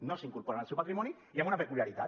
no s’incorporen al seu patrimoni i amb una peculiaritat